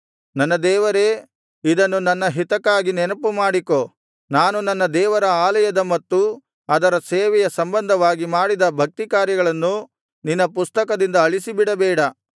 ನನ್ನ ದೇವರೇ ಇದನ್ನು ನನ್ನ ಹಿತಕ್ಕಾಗಿ ನೆನಪುಮಾಡಿಕೋ ನಾನು ನನ್ನ ದೇವರ ಆಲಯದ ಮತ್ತು ಅದರ ಸೇವೆಯ ಸಂಬಂಧವಾಗಿ ಮಾಡಿದ ಭಕ್ತಿಕಾರ್ಯಗಳನ್ನು ನಿನ್ನ ಪುಸ್ತಕದಿಂದ ಆಳಿಸಿಬಿಡಬೇಡ